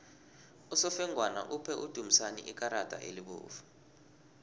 usofengwana uphe udumisani ikarada elibovu